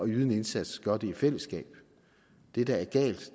yde en indsats gør det i fællesskab det der er galt